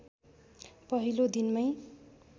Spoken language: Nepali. पहिलो दिनमै